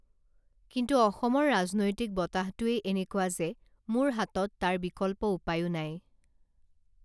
কিন্তু অসমৰ ৰাজনৈতিক বতাহটোৱেই এনেকুৱা যে মোৰ হাতত তাৰ বিকল্প উপায়ো নাই